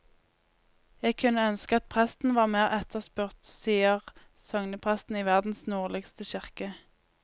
Jeg kunne ønske at presten var mer etterspurt, sier sognepresten i verdens nordligste kirke.